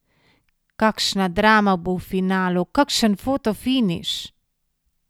Kakšna drama bo v finalu, kakšen fotofiniš!